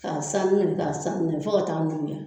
Ka san minɛ ka san minɛ fo ka taa